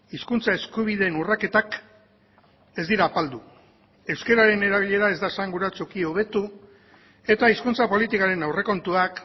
hizkuntza eskubideen urraketak ez dira apaldu euskararen erabilera ez da esanguratsuki hobetu eta hizkuntza politikaren aurrekontuak